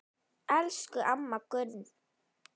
Elsku amma Gunn.